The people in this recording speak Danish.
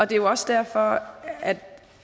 det er jo også derfor